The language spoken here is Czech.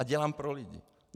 A dělám pro lidi.